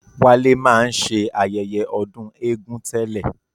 Wálé máa ń ṣe ayẹyẹ ọdún égún tẹ́lẹ̀